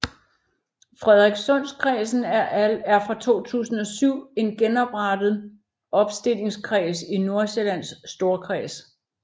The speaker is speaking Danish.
Frederikssundkredsen er fra 2007 en genoprettet opstillingskreds i Nordsjællands Storkreds